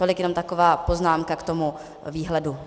Tolik jenom taková poznámka k tomu výhledu.